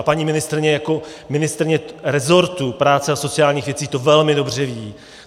A paní ministryně jako ministryně resortu práce a sociálních věcí to velmi dobře ví.